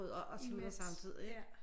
Imens ja